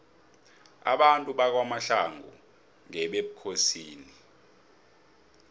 abantu bakwamahlangu ngebekosini